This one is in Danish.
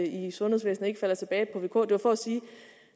i sundhedsvæsenet ikke falder tilbage på det var for at sige at